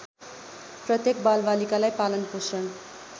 प्रत्येक बालबालिकालाई पालनपोषण